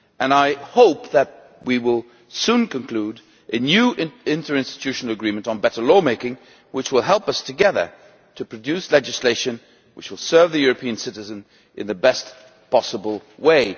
I hope that we will soon conclude a new interinstitutional agreement on better law making, which will help us together to produce legislation that will serve the European citizen in the best possible way.